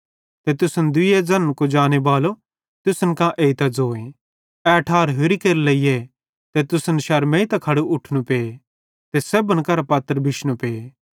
ते तुसन दुइये ज़न्न कुजाने बालो तुसन कां एइतां ज़ोए ए ठार होरि केरे लेइए ते तुसन शरमेइतां खड़े उठनू पे ते सेब्भन करां पत्र बिशनू पे